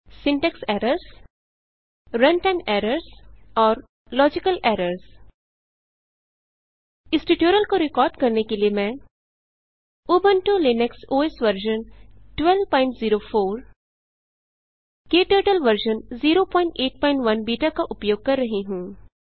syntax errors runtime errors और logical errors इस tutorial को रिकॉर्ड करने के लिए मैं Ubuntu Linux OS version 1204 KTurtle version 081 beta का उपयोग कर रही हूँ